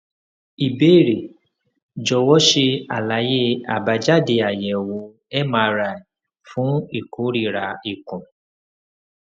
ìbéèrè jọwọ ṣe àlàyé àbájáde àyẹwò mri fún ìròra ikùn